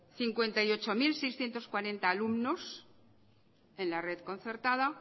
cincuenta y ocho mil seiscientos cuarenta alumnos en la red concertada